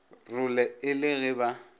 role e le ge ba